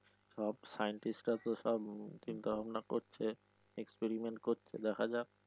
সব scientist তো সব চিন্তা ভাবনা করছে expriement করছে দেখা যাক।